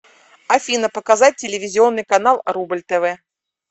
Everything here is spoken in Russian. афина показать телевизионный канал рубль тв